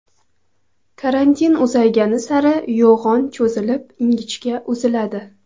Karantin uzaygani sari yo‘g‘on cho‘zilib, ingichka uziladi.